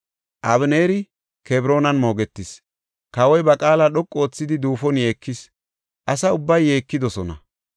Abeneeri Kebroonan moogetis; kawoy ba qaala dhoqu oothidi duufon yeekis; asa ubbay yeekidosona.